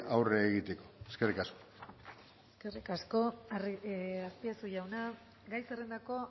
aurre egiteko eskerrik asko eskerrik asko azpiazu jauna gai zerrendako